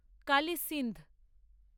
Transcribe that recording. Kali Sindh